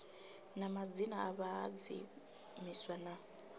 na madzina a vhahadzimiswa na